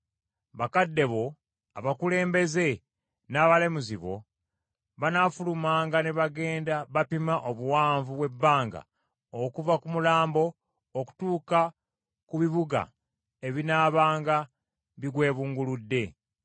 bakadde bo, abakulembeze, n’abalamuzi bo banaafulumanga ne bagenda bapima obuwanvu bw’ebbanga okuva ku mulambo okutuuka ku bibuga ebinaabanga bigwebulunguludde.